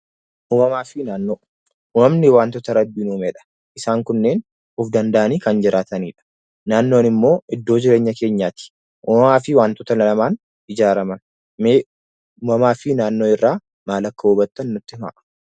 Uumamaa fi Naannoo: Uumamni wantoota Rabbiin uumedha. Isaan kunneen if danda’anii kanneen jiraatanidha. Naannoon immoo iddoo jireenya keenyaati. Uumamaa fi wantoota namaan ijaaraman. Mee uumamaa fi naannoo irraa maal akka hubaytan nutti himaa.